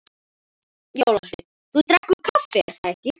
Jólasveinn: Þú drekkur kaffi er það ekki?